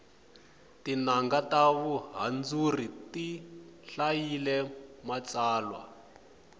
tinanga ta vuhandzuri ti hlayile matsalwa